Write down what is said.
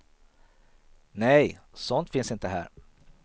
Nej, sånt finns inte här.